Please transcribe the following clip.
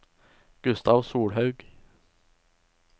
Gustav Solhaug